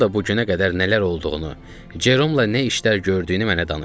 O da bu günə qədər nələr olduğunu, Ceromla nə işlər gördüyünü mənə danışdı.